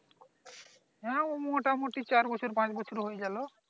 হ্যাঁ মোটামুটি চার বছর পাঁচ বছর হয়ে গেল